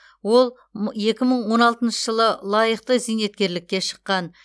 ол екі мың он алтыншы жылы ол лайықты зейнеткерлікке шыққан